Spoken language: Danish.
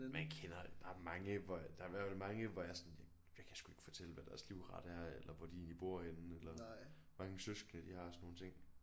Men kender der er mange hvor der er i hvert fald mange hvor jeg sådan jeg kan sgu ikke fortælle hvad deres livret er eller hvor de egentlig bor henne eller hvor mange søskende de har og sådan nogle ting